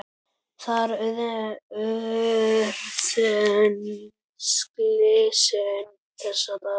Þar urðu slysin þessa daga.